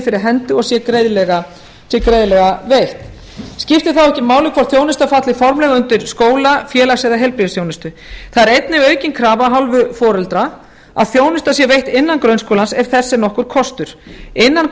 fyrir hendi og sé greiðlega veitt skiptir þá ekki máli hvort þjónusta falli formlega undir skóla félags eða heilbrigðisþjónustu það er einnig aukin krafa af hálfu foreldra að þjónusta sé veitt innan grunnskólans ef þess er nokkur kostur innan